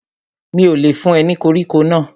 Mi ò lè fún ẹ ní koríko náà